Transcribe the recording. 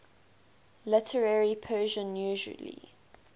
literary persian usually